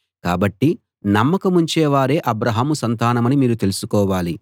కాబట్టి నమ్మకముంచే వారే అబ్రాహాము సంతానమని మీరు తెలుసుకోవాలి